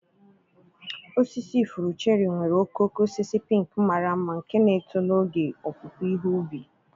Osisi ifuru cherry nwere okooko osisi pink mara mma nke na-eto n'oge opupu ihe ubi.